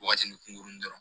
Wagatinin kunkuruni dɔrɔn